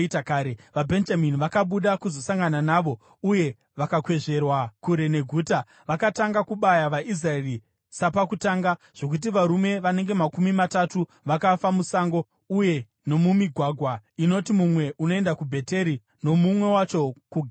VaBhenjamini vakabuda kuzosangana navo uye vakakwezverwa kure neguta. Vakatanga kubaya vaIsraeri sapakutanga, zvokuti varume vanenge makumi matatu vakafa musango uye nomumigwagwa, inoti mumwe unoenda kuBheteri nomumwe wacho kuGibhea.